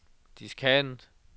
diskant